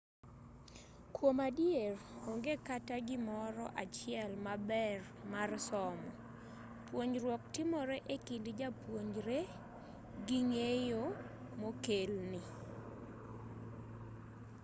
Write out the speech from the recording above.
kuom adier onge kata gimoro achiel maber mar somo puonjruok timore e kind japuonjre gi ng'eyo mokelne